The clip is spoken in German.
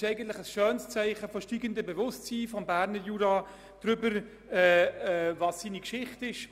Das ist eigentlich ein schönes Zeichen für das steigende Bewusstsein des Berner Juras darüber, welches seine Geschichte ist.